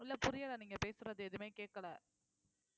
இல்ல புரியலை நீங்க பேசுறது எதுவுமே கேட்கலை